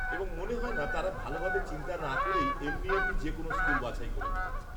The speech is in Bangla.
-এবং মনে হয় না তারা ভালোভাবে চিন্তা না করেই এমনি এমনি যে কোনো স্কুল বাছাই করে নেবে।